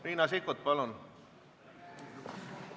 Riina Sikkut, palun!